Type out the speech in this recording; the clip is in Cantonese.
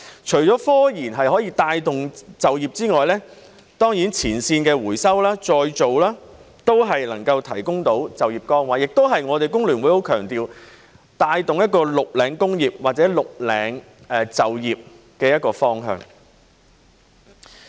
除了科研可以帶動就業之外，前線的回收再造都能夠提供就業崗位，這亦是我們香港工會聯合會很強調須帶動一個"綠領"工業或"綠領"就業的方向。